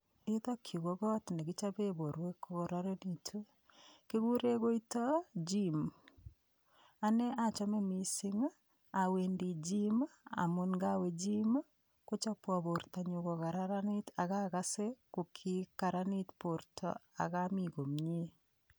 Yuton yuu ko kit nekichoben borwek ko kororonekitun kikuren koiton gym anee ochome missingi Owendii gym amun yon kowe gym kochobwon bortonyun ko kararanit ak okose ko kikaranit borto am omiii komie.